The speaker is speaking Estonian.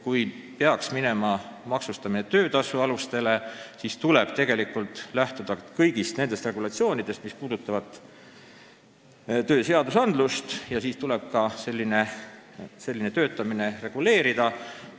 Kui mindaks üle töötasu maksmise alustele, siis tuleb lähtuda kõigist tööseadustest ja siis tuleb ka sellist töötamist reguleerida.